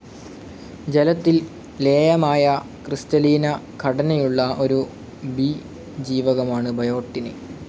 ജലത്തിൽ ലേയമായ, ക്രിസ്റ്റലീനഘടനയുള്ള ഒരു ബി ജീവകമാണ് ബയോട്ടിന്.